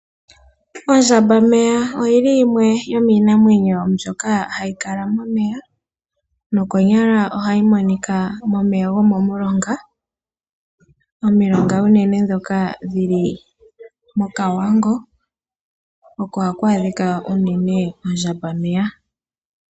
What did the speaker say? Ondjambameya oyo yimwe yomiinamwenyo mbyoka hayi kala momeya nokonyala ohayi monika momeya gomomulonga. Unene momilonga ndhoka dhi li kOkavango oko haku adhika unene ondjambameya.